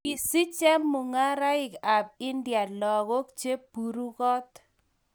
Kisich chemung'arenikab india lagok che burukot.